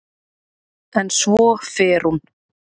En svo fer hún.